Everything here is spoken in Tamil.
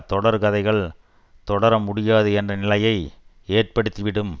தொடர் கதைகள் தொடர முடியாது என்ற நிலையை ஏற்படுத்திவிடும்